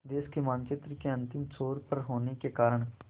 देश के मानचित्र के अंतिम छोर पर होने के कारण